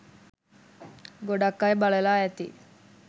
ගොඩක් අය බලලා ඇති